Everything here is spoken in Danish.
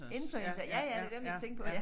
Influencer ja ja det dem jeg tænkte på ja